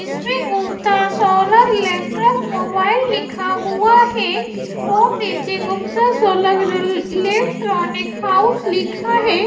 इसमें Gupta solar electric mobile लिखा हुआ है और नीचे गुप्ता सोलर इल इलेक्ट्रॉनिक हाउस लिखा है।